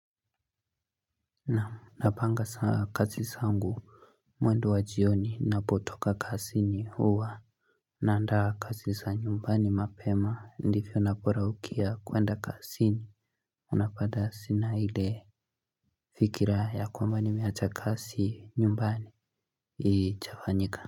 Naam napanga saa kazi sangu mwendo wa jioni napotoka kasi ni huwa Naandaa kazi sa nyumbani mapema ndivyo napora ukia kuenda kasi ni Unapata sina ile fikira ya kwamba ni meacha kazi nyumbani ijafanyika.